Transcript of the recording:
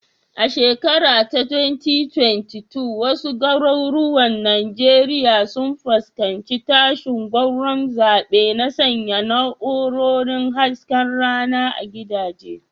A shekara ta 2022, wasu garuruwan Najeriya sun fuskanci tashin gwauron zaɓe na sanya na'urorin hasken rana a gidaje.